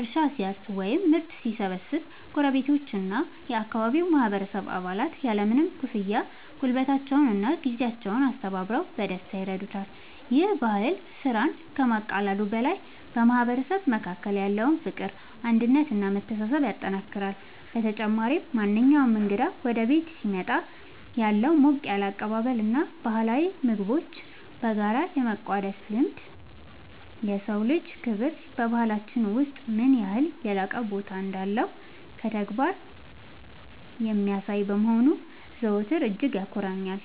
እርሻ ሲያርስ ወይም ምርት ሲሰበስብ ጎረቤቶችና የአካባቢው ማህበረሰብ አባላት ያለምንም ክፍያ ጉልበታቸውንና ጊዜያቸውን አስተባብረው በደስታ ይረዱታል። ይህ ባህል ስራን ከማቃለሉ በላይ በማህበረሰቡ መካከል ያለውን ፍቅር፣ አንድነት እና መተሳሰብ ያጠናክራል። በተጨማሪም፣ ማንኛውም እንግዳ ወደ ቤት ሲመጣ ያለው ሞቅ ያለ አቀባበል እና ባህላዊ ምግቦችን (እንደ ቆጮ እና ወተት) በጋራ የመቋደስ ልማድ፣ የሰው ልጅ ክብር በባህላችን ውስጥ ምን ያህል የላቀ ቦታ እንዳለው በተግባር የሚያሳይ በመሆኑ ዘወትር እጅግ ያኮራኛል።